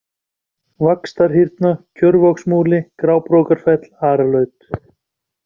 Vaxtarhyrna, Kjörvogsmúli, Grábrókarfell, Aralaut